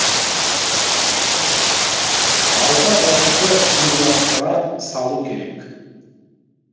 алты ағашты қиюластыра салу керек